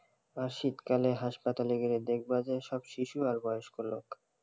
আর শীত কালে হাসপাতালে গেলে দেখবা যে সব শিশু আর বয়স্ক লোক,